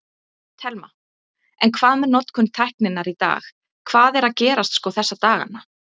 Telma: En hvað með notkun tækninnar í dag, hvað er að gerast sko þessa dagana?